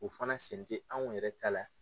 U fana sen ti anw yɛrɛ ta la.